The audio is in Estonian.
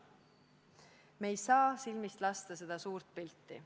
Me ei saa silmist lasta seda suurt pilti.